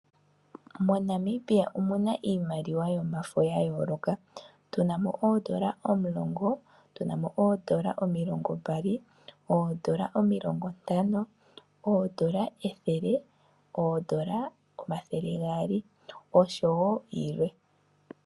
MoNamibia omuna iimaliwa yomafo ya yooloka, tu na mo oondola omulongo, tu na mo oondola omilongo mbali, oondola omilongo ntano, oondola ethele, oondola omathele gaali oshowo yilwe.